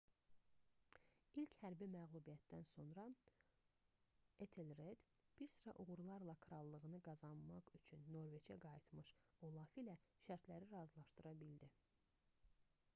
i̇lk hərbi məğlubiyyətdən sonra etelred bir sıra uğurlarla krallığını qazanmaq üçün norveçə qayıtmış olaf ilə şərtləri razılşadıra bildi